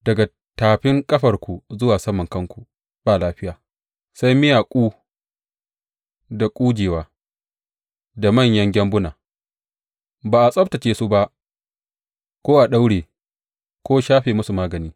Daga tafin ƙafarku zuwa saman kanku ba lafiya, sai miyaku da ƙujewa da manyan gyambuna, ba a tsabtacce su ba ko a daure ko shafa musu magani.